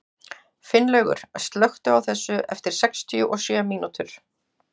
Finnlaugur, slökktu á þessu eftir sextíu og sjö mínútur.